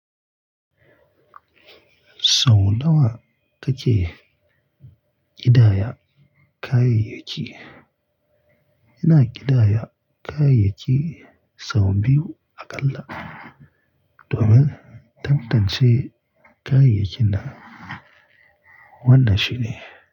Sau nawa kake ƙidaya kayayyaki? Ina ƙidaya kayayyaki sau biyu aƙalla domin tantance kayayyaki na. Wannan shine.